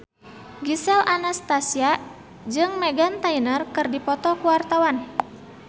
Gisel Anastasia jeung Meghan Trainor keur dipoto ku wartawan